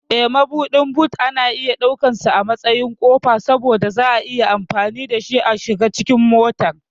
Eh, Mabuɗin boot ana iya ɗaukansa a matsayin ƙofa saboda za'a iya amfani dashi a shiga cikin motar.